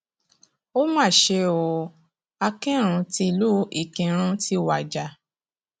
ó mà ṣe o akinrun tílu ìkírùn ti wájà